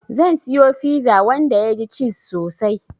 Zan siyo fiza wanda yaji ciz sosai